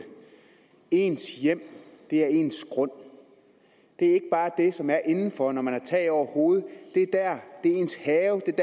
ens hjem er ens grund det er ikke bare det som er indenfor når man har tag over hovedet det er ens have